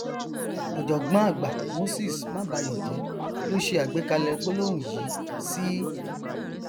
ọjọgbọn àgbà moses mabayọjẹ ló ṣe àgbékalẹ gbólóhùn yìí sí